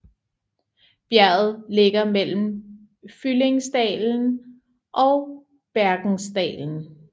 Bjerget ligger mellem Fyllingsdalen og Bergensdalen